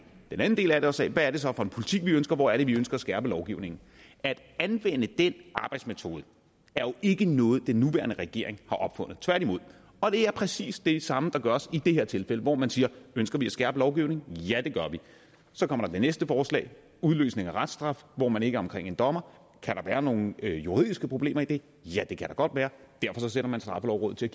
den anden del af det og sagde hvad er det så for en politik vi ønsker hvor er det vi ønsker at skærpe lovgivningen at anvende den arbejdsmetode er jo ikke noget den nuværende regering har opfundet tværtimod og det er præcis det samme der gøres i det her tilfælde hvor man siger ønsker vi at skærpe lovgivningen ja det gør vi så kommer det næste forslag udløsning af reststraf hvor man ikke er omkring en dommer og kan der være nogen juridiske problemer i det ja det kan der godt være og derfor sætter man straffelovrådet til